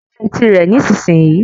Gbá etì i rẹ̀ nísìsiyìí